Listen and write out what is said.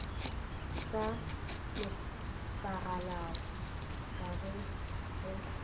sa nepagalago ka ge go